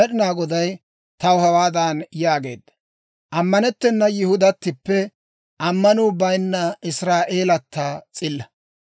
Med'inaa Goday taw hawaadan yaageedda; «Ammanettena Yihudatippe ammanuu bayinna Israa'eelata s'illa.